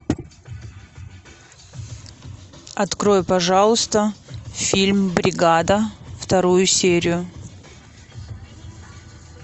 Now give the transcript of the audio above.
открой пожалуйста фильм бригада вторую серию